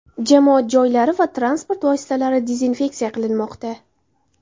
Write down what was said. Jamoat joylari va transport vositalari dezinfeksiya qilinmoqda.